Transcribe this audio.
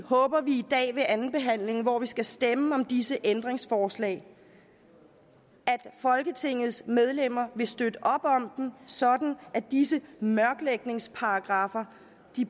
håber vi i dag ved andenbehandlingen hvor vi skal stemme om disse ændringsforslag at folketingets medlemmer vil støtte op om dem sådan at disse mørklægningsparagraffer